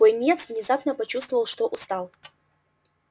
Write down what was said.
пониетс внезапно почувствовал что устал